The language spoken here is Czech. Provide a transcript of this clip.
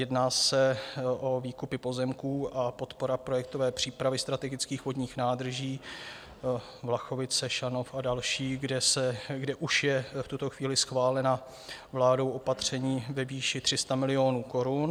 Jedná se o výkupy pozemků a podporu projektové přípravy strategických vodních nádrží Vlachovice, Šanov a další, kde už jsou v tuto chvíli schválena vládou opatření ve výši 300 milionů korun.